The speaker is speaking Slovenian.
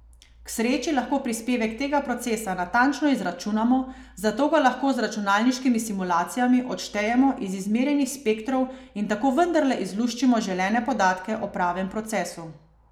K sreči lahko prispevek tega procesa natančno izračunamo, zato ga lahko z računalniškimi simulacijami odštejemo iz izmerjenih spektrov in tako vendarle izluščimo želene podatke o pravem procesu.